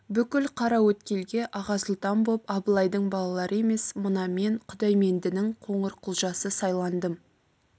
бүкіл қараөткелге аға сұлтан боп абылайдың балалары емес мына мен құдаймендінің қоңырқұлжасы сайландым